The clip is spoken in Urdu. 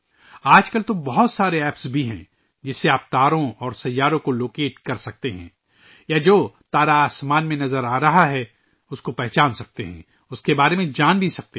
آج کل تو ایسی بہت سی ایپس بھی ہیں، جن کے ذریعے آپ ستاروں اور سیاروں کا پتہ لگا سکتے ہیں یا آپ آسمان پر نظر آنے والے ستارے کی شناخت کر سکتے ہیں، آپ اس کے بارے میں جان بھی سکتے ہیں